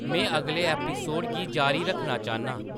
में अगले एपिसोड गी जारी रक्खना चांह्‌‌‌न्नां